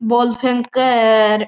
बॉल फेके है र।